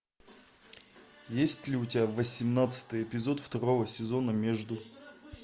есть ли у тебя восемнадцатый эпизод второго сезона между